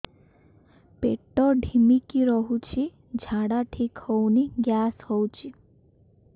ପେଟ ଢିମିକି ରହୁଛି ଝାଡା ଠିକ୍ ହଉନି ଗ୍ୟାସ ହଉଚି